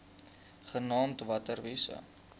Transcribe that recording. genaamd water wise